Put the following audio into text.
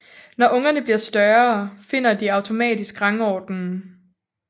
Når ungerne bliver større finder de automatisk rangordenen